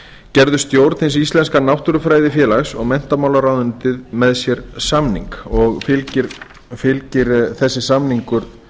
gerðu stjórn hins íslenska náttúrufræðifélags og menntamálaráðuneytið með sér samning og fylgir þessi samningur